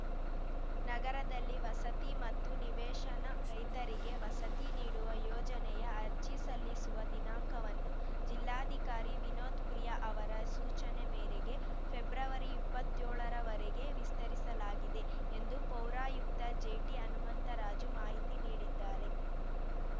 ನಗರದಲ್ಲಿ ವಸತಿ ಮತ್ತು ನಿವೇಶನ ರಹಿತರಿಗೆ ವಸತಿ ನೀಡುವ ಯೋಜನೆಯ ಅರ್ಜಿ ಸಲ್ಲಿಸುವ ದಿನಾಂಕವನ್ನು ಜಿಲ್ಲಾಧಿಕಾರಿ ವಿನೋತ್‌ಪ್ರಿಯಾ ಅವರ ಸೂಚನೆ ಮೇರೆಗೆ ಫೆಬ್ರವರಿಇಪ್ಪತ್ಯೊಳ ರವರೆಗೆ ವಿಸ್ತರಿಸಲಾಗಿದೆ ಎಂದು ಪೌರಾಯುಕ್ತ ಜೆಟಿಹನುಮಂತರಾಜು ಮಾಹಿತಿ ನೀಡಿದ್ದಾರೆ